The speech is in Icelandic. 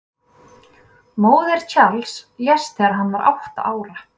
Móðir Charles lést þegar hann var átta ára.